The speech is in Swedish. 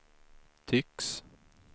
tycks